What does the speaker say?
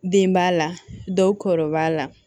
Den b'a la dɔw kɔrɔ b'a la